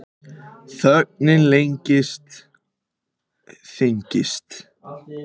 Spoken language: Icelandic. Þögnin lengist, þyngist.